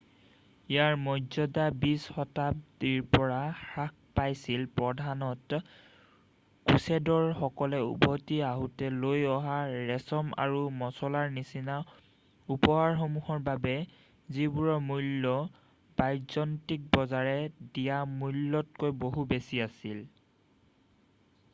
ইয়াৰ মৰ্য্যদা বিংশ শতাব্দীৰ পৰা হ্ৰাস পাইছিল প্ৰধানতঃ ক্ৰুচেদৰ সকলে উভতি আহোঁতে লৈ অহা ৰেচম আৰু মচলাৰ নিচিনা উপহাৰসমূহৰ বাবে যিবোৰৰ মূল্য ব্যাযন্তিন বজাৰে দিয়া মোলতকৈ বহু বেছি আছিল